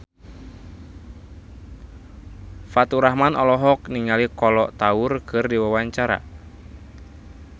Faturrahman olohok ningali Kolo Taure keur diwawancara